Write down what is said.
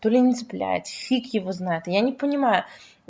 то ли не цепляет фиг его знает я не понимаю